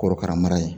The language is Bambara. Korokara mara ye